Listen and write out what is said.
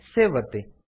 save ಒತ್ತಿ